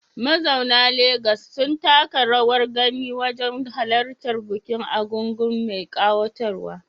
Mazauna Legas sun taka rawar gani wajen halartar bukin egúngún mai kayatarwa